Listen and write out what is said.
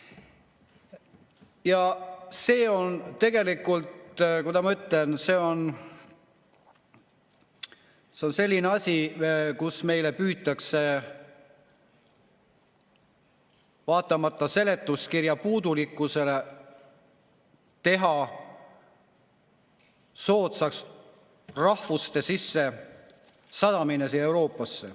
Ja see on tegelikult, kuidas ma ütlen, selline asi, millega meil püütakse vaatamata seletuskirja puudulikkusele teha soodsaks rahvuste sissesadamine siia Euroopasse.